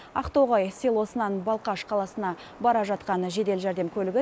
ақтоғай селосынан балқаш қаласына бара жатқан жедел жәрдем көлігі